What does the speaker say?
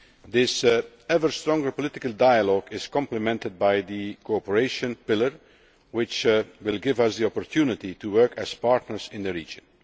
This ever stronger political dialogue is complemented by the cooperation pillar, which will give us the opportunity to work as partners in the region.